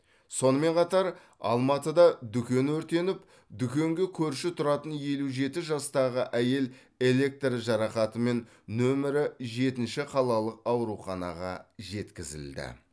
сонымен қатар алматыда дүкен өртеніп дүкенге көрші тұратын елу жті жастағы әйел электр жарақатымен нөмірі жетінші қалалық ауруханаға жеткізілді